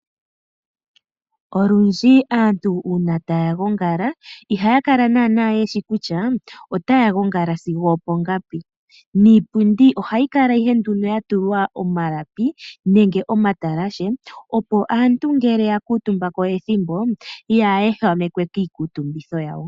Olundji ngele aantu tagongala iihakala yeshi kutya otaagongala uule wethimbo lithike peni, niipundi ohayi kala yatulwa omalapi nenge omatalashe opo aantu ngele taakutumbako kaayehamekwe kiikutumbitho ya wo.